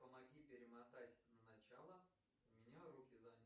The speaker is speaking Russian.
помоги перемотать на начало у меня руки заняты